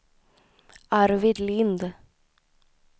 Arvid Lind